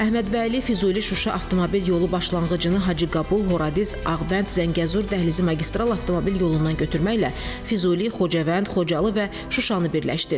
Əhmədbəyli, Füzuli, Şuşa avtomobil yolu başlanğıcını Hacıqabul, Horadiz, Ağbənd, Zəngəzur dəhlizi magistral avtomobil yolundan götürməklə Füzuli, Xocavənd, Xocalı və Şuşanı birləşdirir.